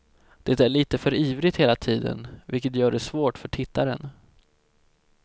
Det är lite för ivrigt hela tiden, vilket gör det svårt för tittaren.